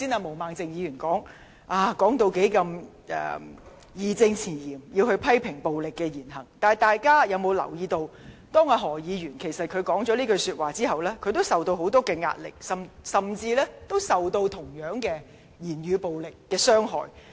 毛孟靜議員剛才在發言期間義正詞嚴地表示要批評暴力言行，但大家有否留意，當何議員作出有關言論後，他也受到很大壓力，甚至遭受同樣的語言暴力傷害呢？